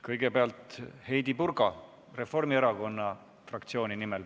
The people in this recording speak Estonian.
Kõigepealt Heidy Purga Reformierakonna fraktsiooni nimel.